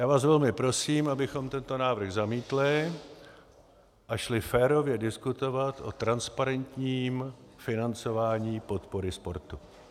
Já vás velmi prosím, abychom tento návrh zamítli a šli férově diskutovat o transparentním financování podpory sportu.